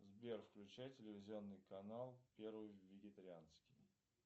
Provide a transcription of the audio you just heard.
сбер включай телевизионный канал первый вегетарианский